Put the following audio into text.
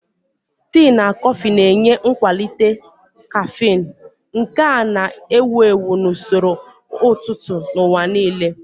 Tii na kọfị na-enye nkwalite caffeine, nke a na-ewu ewu na usoro ụtụtụ n'ụwa nile.